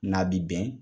N'a bi bɛn